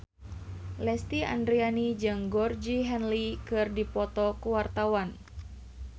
Lesti Andryani jeung Georgie Henley keur dipoto ku wartawan